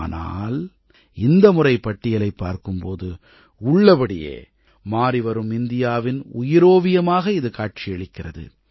ஆனால் இந்த முறை பட்டியலைப் பார்க்கும் போது உள்ளபடியே மாறிவரும் இந்தியாவின் உயிரோவியமாக இது காட்சியளிக்கிறது